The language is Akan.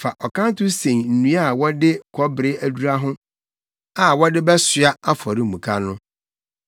Fa ɔkanto sen nnua a wɔde kɔbere adura ho a wɔde bɛsoa afɔremuka no.